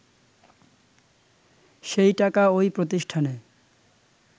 সেই টাকা ওই প্রতিষ্ঠানে